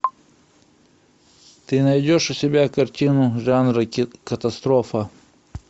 ты найдешь у себя картину жанра катастрофа